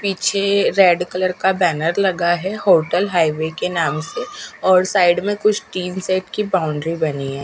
पीछे red colour का banner लगा है होटल हाईवे के नाम से और साइड में कुछ टीन सेट की बाउंड्री बनी है।